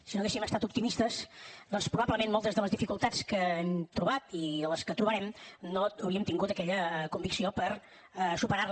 si no haguéssim estat optimistes doncs probablement moltes de les dificultats que hem trobat i de les que trobarem no hauríem tingut aquella convicció per superar les